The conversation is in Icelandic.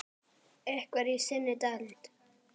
Einhver í þinni deild?